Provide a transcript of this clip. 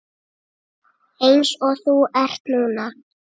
Eins og þú ert núna.